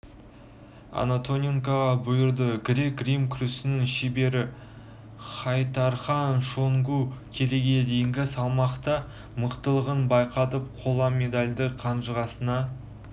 антоненкоға бұйырды грек-рим күресінің шебері хайтархан шонгу келіге дейінгі салмақта мықтылығын байқатып қола медальді қанжығасына